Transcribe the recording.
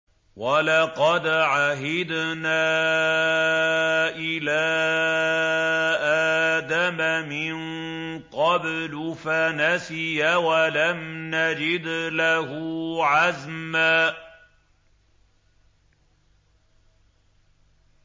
وَلَقَدْ عَهِدْنَا إِلَىٰ آدَمَ مِن قَبْلُ فَنَسِيَ وَلَمْ نَجِدْ لَهُ عَزْمًا